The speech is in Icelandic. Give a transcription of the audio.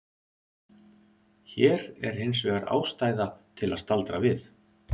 Hér er hins vegar ástæða til að staldra við.